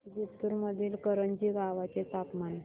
जिंतूर मधील करंजी गावाचे तापमान